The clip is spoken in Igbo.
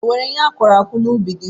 E nwere ihe akụrụ akụ no n'ubi gị.